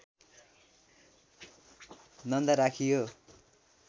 नन्दा राखियो